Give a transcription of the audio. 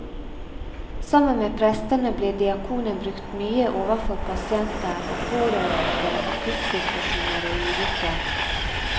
Sammen med prestene blir diakonen brukt mye overfor pasienter og pårørende ved akuttsituasjoner og ulykker.